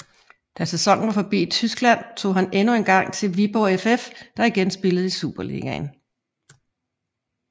Da sæsonen var forbi i Tyskland tog han endnu engang til Viborg FF der igen spillede i Superligaen